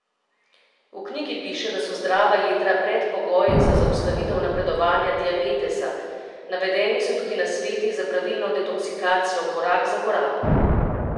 V knjigi piše, da so zdrava jetra predpogoj za zaustavitev napredovanja diabetesa, navedeni so tudi nasveti za pravilno detoksikacijo korak za korakom.